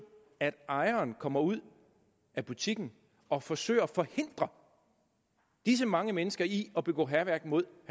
at ejeren kommer ud af butikken og forsøger at forhindre disse mange mennesker i at begå hærværk mod